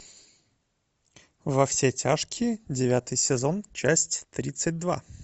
во все тяжкие девятый сезон часть тридцать два